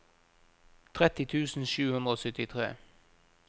tretti tusen sju hundre og syttitre